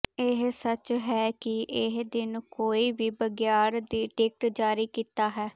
ਇਹ ਸੱਚ ਹੈ ਕਿ ਇਹ ਦਿਨ ਕੋਈ ਵੀ ਬਘਿਆੜ ਦੀ ਟਿਕਟ ਜਾਰੀ ਕੀਤਾ ਹੈ